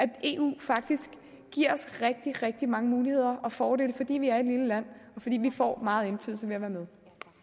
at eu faktisk giver os rigtig rigtig mange muligheder og fordele fordi vi er et lille land og fordi vi får meget indflydelse ved at være med